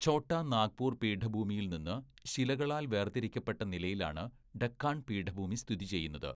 ഛോട്ടാ നാഗ്പൂർ പീഠഭൂമിയിൽ നിന്ന് ശിലകളാൽ വേർ തിരിക്കപ്പെട്ട നിലയിലാണ് ഡക്കാൺ പീഠഭൂമി സ്ഥിതി ചെയ്യുന്നത്.